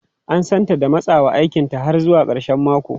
An santa da matsawa aikinta har zuwa karshen mako.